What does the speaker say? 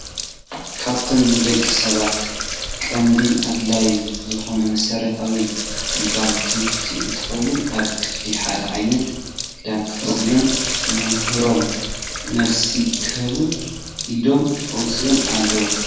ካብቶም ንደቂ ሰባት ቀንዲን ኣድላይ ዝኮነ መሰረታዊ ግልጋሎት ትምህርቲ እንትኮን ኣብ ክፍሊ ሓደ ዓይነት ክዳን ተከዲኖም ንመምህሮም መልሲ ክህቡ ኢዶም ኣውፂኦም ኣለው።